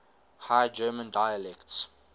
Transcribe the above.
high german dialects